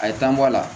A ye tan bɔ a la